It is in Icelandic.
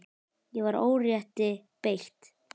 Ég var órétti beitt.